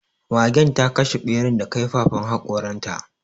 Magen ta kashe ɓeran da kaifafan haƙoran ta